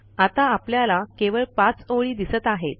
आता आपल्याला केवळ 5 ओळी दिसत आहेत